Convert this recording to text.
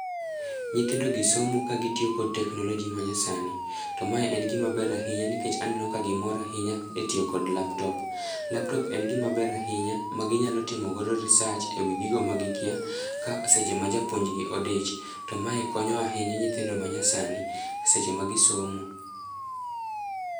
Nyithindogi somo kagitiyo kod teknoloji manyasani to mae en gimaber ahinya nikech aneno kagimor ahinya e tiyo kod laptop. Laptop en gimaber ahinya maginyalo timogodo research e wi gigo ma gikia seche ma japuonjgi odich, to mae konyo ahinya nyithindo ma nyasani seche ma gisomo.